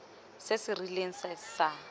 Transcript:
se se rileng se sa